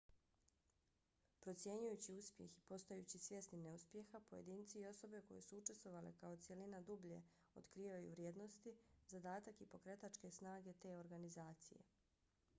procjenjujući uspjeh i postajući svjesni neuspjeha pojedinci i osobe koje su učestvovale kao cjelina dublje otkrivaju vrijednosti zadatak i pokretačke snage te organizacije